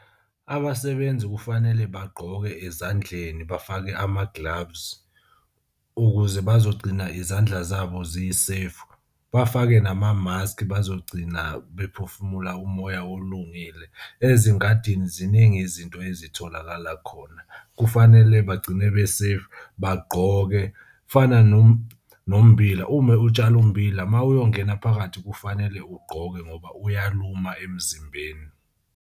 Abasebenzi kufanele bagqoke ezandleni bafake ama-gloves ukuze bazogcina izandla zabo zi-safe. Bafake nama-mask bazogcina bephefumula umoya olungile. Ezingadini ziningi izinto ezitholakala khona. Kufanele bagcine be safe, bagqoke. Kufana nommbila ume utshale ummbila uma uyongena phakathi kufanele ugqoke ngoba uyaluma emzimbeni.